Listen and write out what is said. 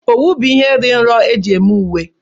Owu bụ ihe dị nro eji eme uwe.